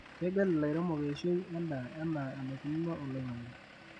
Kegel lairemok eishoi endaa ana enaikununo oloingange.